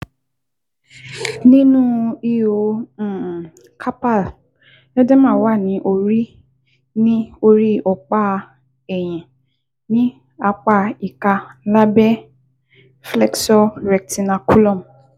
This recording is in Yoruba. Ní inú ihò um carpal, edema wà ní orí ní orí ọ̀pá ẹ̀yìn ní apá ìka lábẹ́ flexor retinaculum